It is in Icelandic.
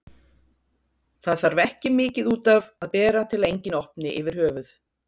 Það þarf ekki mikið út af að bera til að enginn opni yfir höfuð.